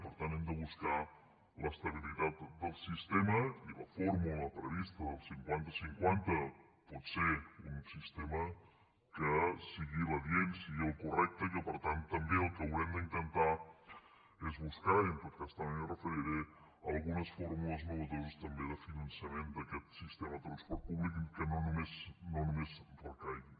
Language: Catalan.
per tant hem de buscar el sistema l’estabilitat del sistema i la fórmula prevista del cinquantacinquanta pot ser un sistema que sigui l’adient sigui el correcte i que per tant també el que haurem d’intentar és buscar i en tot cas també m’hi referiré algunes fórmules innovadores també de finançament d’aquest sistema de transport públic que no només ens recaigui